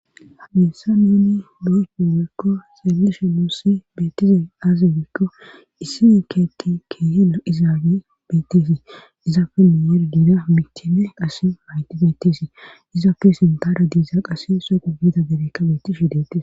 Hamessa neni boycopo wiikko selalishe moossi beettize aaze wiikko issine keeki keehela izaage beetteesi izapfenne yergida michenne qase hayti beeteesi izaapfe sintara diiza qas sooqo gida bebekka bettishe detes.